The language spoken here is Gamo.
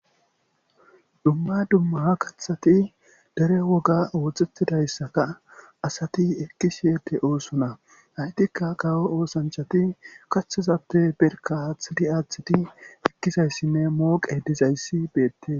dumma dumma ha kathati dere woga oothxhettidayssaka asati ekki siyete oosona haytikka kawo oosanchati kaththazappe berka aaththidi aaththidi ekkizayssinne mooqe dizayssi beette